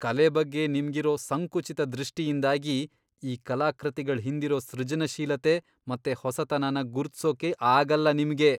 ಕಲೆ ಬಗ್ಗೆ ನಿಮ್ಗಿರೋ ಸಂಕುಚಿತ ದೃಷ್ಟಿಯಿಂದಾಗಿ ಈ ಕಲಾಕೃತಿಗಳ್ ಹಿಂದಿರೋ ಸೃಜನಶೀಲತೆ ಮತ್ತೆ ಹೊಸತನನ ಗುರುತ್ಸೋಕೆ ಅಗಲ್ಲ ನಿಮ್ಗೆ.